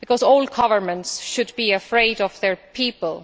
all governments should be afraid of their people.